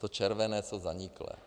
To červené jsou zaniklé.